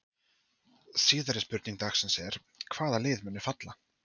Síðari spurning dagsins er: Hvaða lið munu falla?